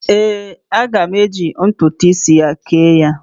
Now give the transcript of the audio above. Ee, aga m eji ntụtụ isi ya kee ya.